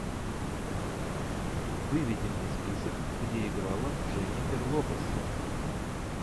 выведи мне список где играла дженнифер лопес